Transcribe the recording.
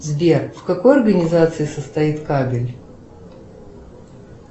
сбер в какой организации состоит кабель